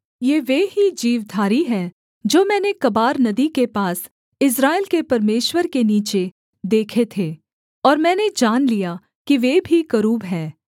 ये वे ही जीवधारी हैं जो मैंने कबार नदी के पास इस्राएल के परमेश्वर के नीचे देखे थे और मैंने जान लिया कि वे भी करूब हैं